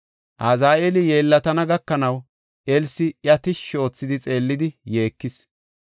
Azaheeli yeellatana gakanaw, Elsi iya tishshi oothidi xeellidi yeekis.